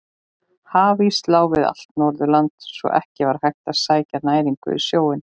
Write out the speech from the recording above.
Hafís lá við allt Norðurland svo að ekki var hægt að sækja næringu í sjóinn.